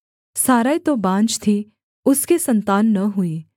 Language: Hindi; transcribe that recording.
सारै तो बाँझ थी उसके सन्तान न हुई